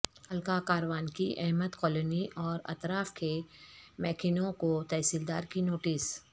حلقہ کاروان کی احمد کالونی اور اطراف کے مکینوں کو تحصیلدار کی نوٹس